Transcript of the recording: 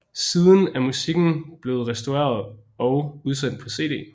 Siden er musikken blevet restaureret og udsendt på CD